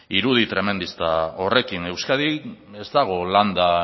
irudi tremendista horrekin euskadin ez dago landa